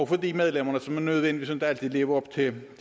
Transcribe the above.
for de medlemmer som ikke nødvendigvis altid lever op til